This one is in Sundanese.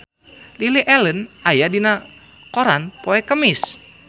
Lily Allen aya dina koran poe Kemis